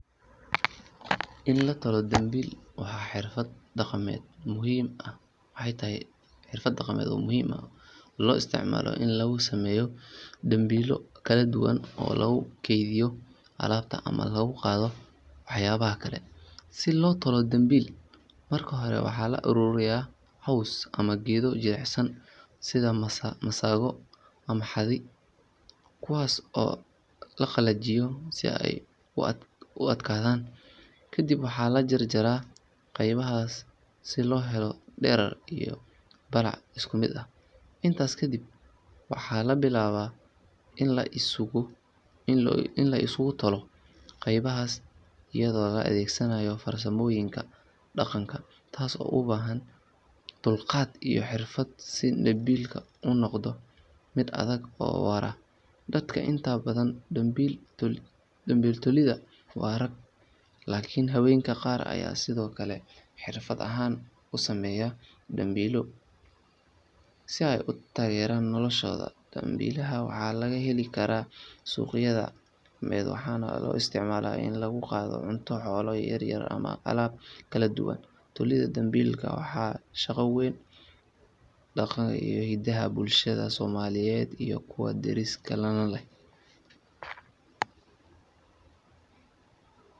In la tolo dambiil waa xirfad dhaqameed muhiim ah oo loo isticmaalo in lagu sameeyo dambiilo kala duwan oo lagu kaydiyo alaabta ama lagu qaado waxyaabaha kale. Si loo tolo dambiil, marka hore waxaa la ururiyaa caws ama geedo jilicsan sida masago ama xadi, kuwaas oo la qalajiyo si ay u adkaadaan. Kadib waxaa la jarjaraa qaybahaas si loo helo dherer iyo ballac isku mid ah. Intaasi kadib, waxaa la bilaabaa in la isugu tolo qaybahaas iyadoo la adeegsanayo farsamooyinka dhaqanka, taas oo u baahan dulqaad iyo xirfad si dambiilka u noqdo mid adag oo waara. Dadka inta badan dambiil tolida waa rag, laakiin haweenka qaar ayaa sidoo kale xirfad ahaan u sameeya dambiilo si ay u taageeraan noloshooda. Dambiilada waxaa laga heli karaa suuqyada dhaqameed, waxaana loo isticmaalaa in lagu qaado cunto, xoolo yaryar ama alaab kala duwan. Tolidda dambiilka waa shaqo muhiim ah oo ka tarjumaysa dhaqanka iyo hiddaha bulshooyinka Soomaaliyeed iyo kuwa deriska la ah.